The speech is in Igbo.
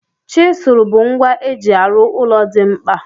Chizụl bụ ngwa eji arụ ụlọ dị mkpa.